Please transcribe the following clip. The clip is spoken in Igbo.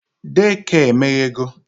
Daycare emeghego